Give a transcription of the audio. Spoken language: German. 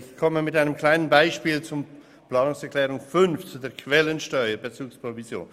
Ich komme mit einem kleinen Beispiel zum Antrag 5, zur Quellensteuer-Bezugsprovision.